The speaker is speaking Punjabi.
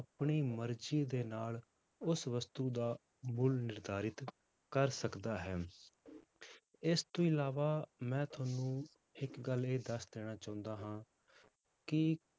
ਆਪਣੀ ਮਰਜ਼ੀ ਦੇ ਨਾਲ ਉਸ ਵਸਤੂ ਦਾ ਮੁੱਲ ਨਿਰਧਾਰਤ ਕਰ ਸਕਦਾ ਹੈ ਇਸ ਤੋਂ ਇਲਾਵਾ ਮੈਂ ਤੁਹਾਨੂੰ ਇੱਕ ਗੱਲ ਇਹ ਦੱਸ ਦੇਣਾ ਚਾਹੁੰਦਾ ਹਾਂ ਕਿ